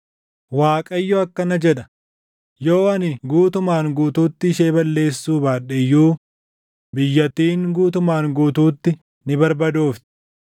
Waaqayyo akkana jedha: “Yoo ani guutumaan guutuutti ishee balleessuu baadhe iyyuu biyyattiin guutumaan guutuutti ni barbadoofti.